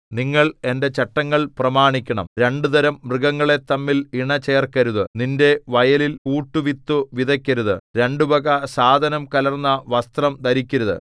നിങ്ങൾ എന്റെ ചട്ടങ്ങൾ പ്രമാണിക്കണം രണ്ടുതരം മൃഗങ്ങളെ തമ്മിൽ ഇണ ചേർക്കരുത് നിന്റെ വയലിൽ കൂട്ടുവിത്തു വിതയ്ക്കരുത് രണ്ടു വക സാധനം കലർന്ന വസ്ത്രം ധരിക്കരുത്